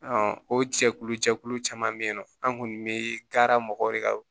o jɛkulu jɛkulu caman bɛ yen nɔ an kun bɛ taara mɔgɔw de ka